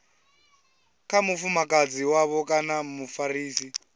kha mufumakadzi wavho kana mufarisi